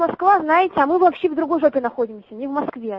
москва знаете а мы вообще в другой жопе находимся не в москве